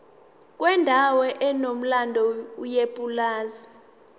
kwendawo enomlando yepulazi